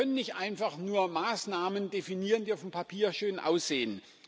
Wir können nicht einfach nur Maßnahmen definieren, die auf dem Papier schön aussehen.